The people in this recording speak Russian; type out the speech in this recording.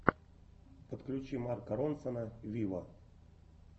подключи марка ронсона виво